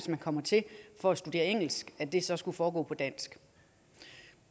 man kom hertil for at studere engelsk at det så skulle foregå på dansk